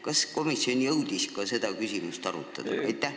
Kas komisjon jõudis ka seda küsimust arutada?